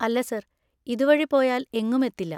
അല്ല സർ, ഇതുവഴി പോയാൽ എങ്ങും എത്തില്ല.